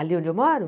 Ali onde eu moro?